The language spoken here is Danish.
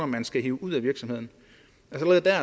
man skal hive ud af virksomheden allerede dér